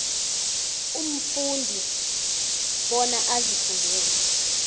umfundi bona azifundele